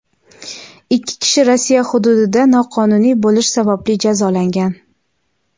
ikki kishi Rossiya hududida noqonuniy bo‘lish sababli jazolangan.